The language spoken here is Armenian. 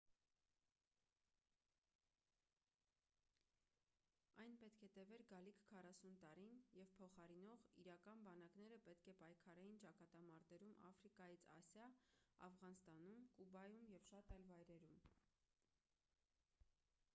այն պետք է տևեր գալիք 40 տարին և փոխարինող իրական բանակները պետք է պայքարեին ճակատամարտերում աֆրիկայից ասիա աֆղանստանում կուբայում և շատ այլ վայրերում